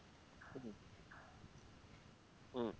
হম